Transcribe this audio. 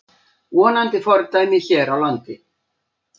Vonandi fordæmi hér á landi